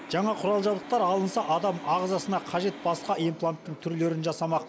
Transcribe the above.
жаңа құрал жабдықтар алынса адам ағзасына қажет басқа импланттың түрлерін жасамақ